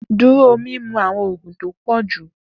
Duro mimu awọn oogun ti o pọ ju!